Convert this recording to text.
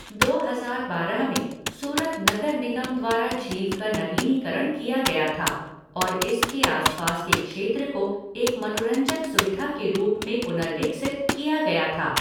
दो हजार बारह में, सूरत नगर निगम द्वारा झील का नवीनीकरण किया गया था, और इसके आसपास के क्षेत्र को एक मनोरंजक सुविधा के रूप में पुनर्विकसित किया गया था।